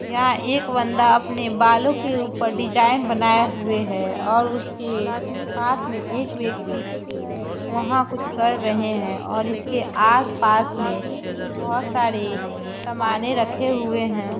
यहाँ एक बंदा अपने बालों के ऊपर डिजाइन बनाया हुए है और उसके पास में एक व्यक्ति वहां कुछ कर रहे हैं और इसके आसपास में बहुत सारे समाने रखें हुए हैं।